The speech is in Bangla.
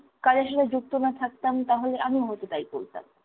কাজের সাথে যুক্ত না থাকতাম তাহলে আমিও হয়তো তাই বলতাম।